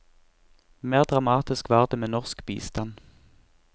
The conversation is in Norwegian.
Mer dramatisk var det med norsk bistand.